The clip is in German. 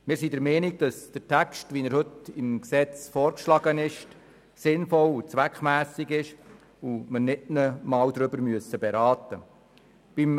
Wir sind der Meinung, dass der Gesetzestext, wie er heute vorgeschlagen ist, sinnvoll und zweckmässig ist und man darüber nicht einmal beraten muss.